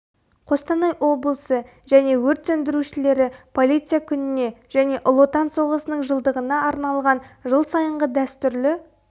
қостанай облысы және өрт сөндірушілері полиция күніне және ұлы отан соғысының жылдығына арналған жыл сайынғы дәстүрлі